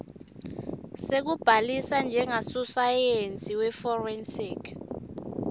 sekubhalisa njengasosayensi weforensic